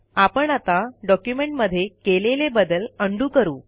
आपण आता डॉक्युमेंटमध्ये केलेले बदल उंडो करू